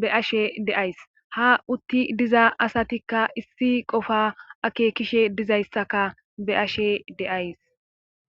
be7ashe de7ays ha uttidi diza asatikka issi qofaa akeekishe dizayssaka be7ashe de7ays.